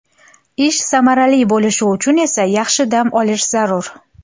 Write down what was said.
Ish samarali bo‘lishi uchun esa yaxshi dam olish zarur.